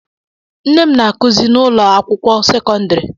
Nne m na-akuzi n'ụlọakwụkwọ sekondari.